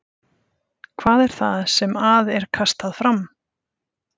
Hvað er það sem að er kastað fram?